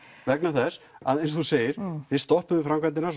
vegna þess að eins og þú segir þið stoppuðu framkvæmdirnar